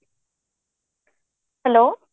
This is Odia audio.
hello